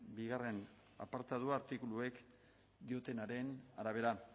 bigarrena apartatu artikuluek diotenaren arabera